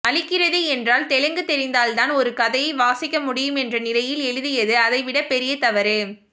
அளிக்கிறது என்றால் தெலுங்கு தெரிந்தால்தான் ஒரு கதையை வாசிக்கமுடியும் என்ற நிலையில் எழுதியது அதைவிடப்பெரிய தவறு